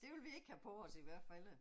Det vil vi ikke have på os i hvert fald